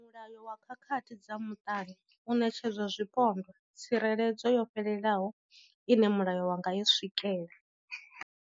Mulayo wa khakhathi dza muṱani u ṋetshedza zwipondwa tsireledzo yo fhelelaho ine mulayo wa nga i swikela.